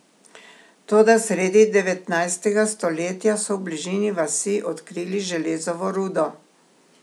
Toda sredi devetnajstega stoletja so v bližini vasi odkrili železovo rudo.